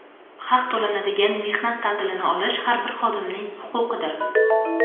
haq to‘lanadigan mehnat ta’tilini olish har bir xodimning huquqidir.